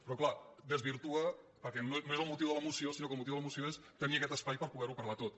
però clar ho desvirtua perquè no és el motiu de la moció sinó que el motiu de la moció és te·nir aquest espai per poder·ho parlar tot